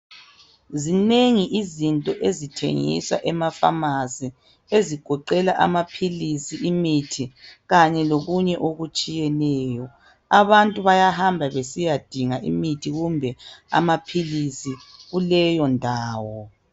Zinengi izinto ezithengiswa emafamasi ezigoqela imithi kanye lokunye okutshiyeneyo, abantu bayahamba besiyadinga imithi kumbe amaphilisi kuleyo ndawo.